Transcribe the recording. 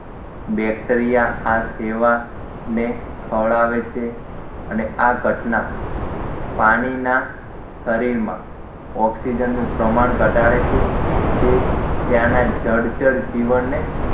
bacteria આ સેવાળ ને ખવડાવે છે અને આ ઘટના પાણીના શરીરમાં ઓક્સિજનનું પ્રમાણ ઘટાડે છે જે ત્યાંના જળચર જીવનને